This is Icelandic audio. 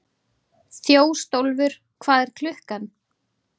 Þjóstólfur, hvað er klukkan?